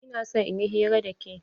Ina son in yi hira da ke.